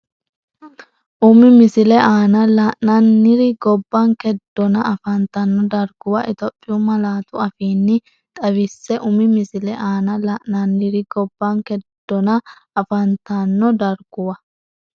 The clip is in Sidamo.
Umi misile aana la’inanniri gobbanke donna afantanno darguwa Itophiyu malaatu afiinni xawisse Umi misile aana la’inanniri gobbanke donna afantanno darguwa.